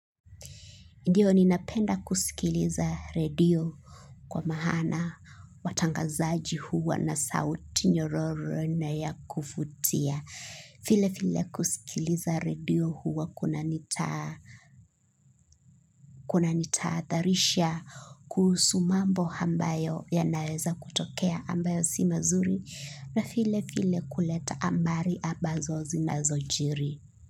Ndiyo ninapenda kusikiliza radio kwa maana watangazaji huwa na sauti nyororo na ya kuvutia. Vile vile kusikiliza radio huwa kunanitahatharisha kuhusu mambo ambayo yanaweza kutokea ambayo si mazuri na vile vile kuleta habari ambazo zinazojiri.